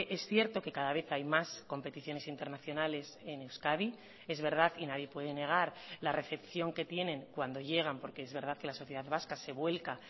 es cierto que cada vez hay más competiciones internacionales en euskadi es verdad y nadie puede negar la recepción que tienen cuando llegan porque es verdad que la sociedad vasca se vuelca